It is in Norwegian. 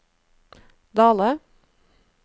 Dale